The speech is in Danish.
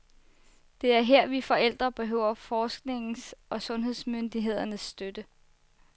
Det er her, vi forældre behøver forskningens og sundhedsmyndighedernes støtte.